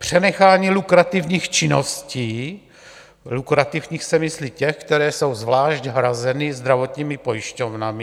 Přenechání lukrativních činností, lukrativních se myslí těch, které jsou zvlášť hrazeny zdravotními pojišťovnami.